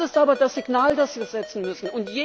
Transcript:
Das ist aber das Signal, das wir geben müssen.